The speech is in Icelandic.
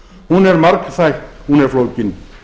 hún er margþætt hún er flókin